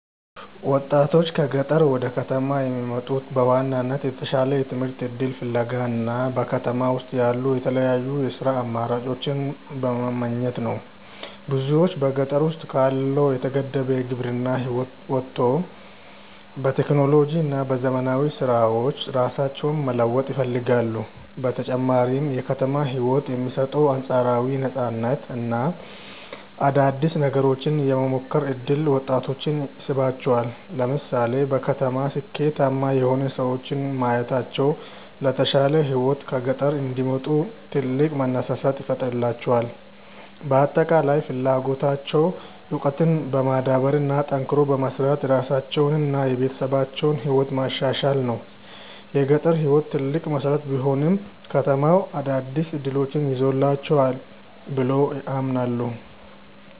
ወጣቶች ከገጠር ወደ ከተማ የሚመጡት በዋናነት የተሻለ የትምህርት እድል ፍለጋ እና በከተማ ውስጥ ያሉ የተለያዩ የሥራ አማራጮችን በመመኘት ነው። ብዙዎች በገጠር ውስጥ ካለው የተገደበ የግብርና ህይወት ወጥተው በቴክኖሎጂ እና በዘመናዊ ስራዎች ራሳቸውን መለወጥ ይፈልጋሉ። በተጨማሪም የከተማው ህይወት የሚሰጠው አንፃራዊ ነፃነት እና አዳዲስ ነገሮችን የመሞከር እድል ወጣቶችን ይስባቸዋል። ለምሳሌ በከተማ ስኬታማ የሆኑ ሰዎችን ማየታቸው ለተሻለ ህይወት ከገጠር እንዲወጡ ትልቅ መነሳሳት ይፈጥርላቸዋል። በአጠቃላይ ፍላጎታቸው እውቀትን በማዳበር እና ጠንክሮ በመስራት የራሳቸውንና የቤተሰባቸውን ህይወት ማሻሻል ነው። የገጠር ህይወት ትልቅ መሰረት ቢሆንም፣ ከተማው አዳዲስ እድሎችን ይዞላቸዋል ብለው ያምናሉ።